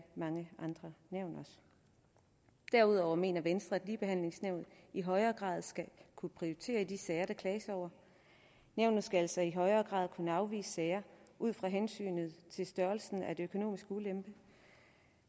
mange andre nævn derudover mener venstre at ligebehandlingsnævnet i højere grad skal kunne prioritere i de sager der klages over nævnet skal altså i højere grad kunne afvise sager ud fra hensynet til størrelsen af den økonomiske ulempe